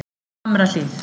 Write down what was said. Hamrahlíð